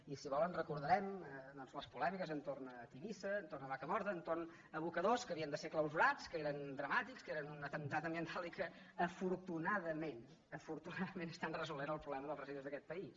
i si volen recordarem les polèmiques entorn de tivissa entorn de vacamorta entorn d’aboca·dors que havien de ser clausurats que eren dramàtics que eren un atemptat ambiental i que afortunadament afortunadament estan resolent el problema dels resi·dus d’aquest país